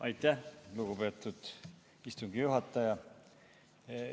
Aitäh, lugupeetud istungi juhataja!